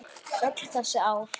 Öll þessi ár.